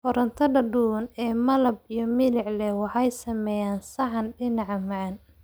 Karootada duban ee malab iyo milix leh waxay sameeyaan saxan dhinaca macaan.